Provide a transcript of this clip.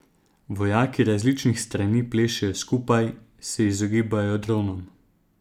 Vojaki različnih strani plešejo skupaj, se izogibajo dronom.